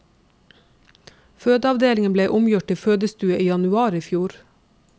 Fødeavdelingen ble omgjort til fødestue i januar i fjor.